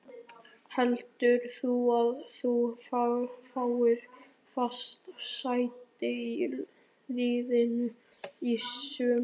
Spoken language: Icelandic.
Heldurðu að þú fáir fast sæti í liðinu í sumar?